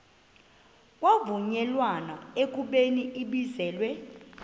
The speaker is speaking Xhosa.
kwavunyelwana ekubeni ibizelwe